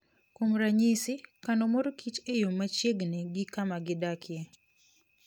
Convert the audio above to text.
Kuom ranyisi, kano mor kich e yo machiegni gi kama gidakie.